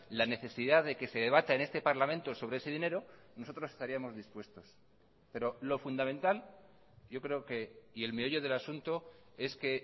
la necesidad de que se debata en este parlamento sobre ese dinero nosotros estaríamos dispuestos pero lo fundamental yo creo que y el meollo del asunto es que